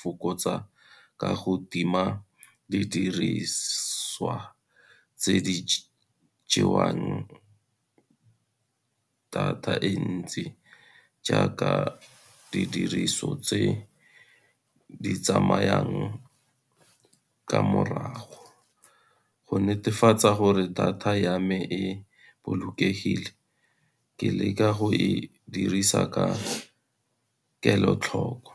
fokotsa ka go tima didiriswa tse di jewang data e ntsi, jaaka didiriso tse di tsamayang ka morago. Go netefatsa gore data ya me e bolokegile, ke leka go e dirisa ka kelotlhoko.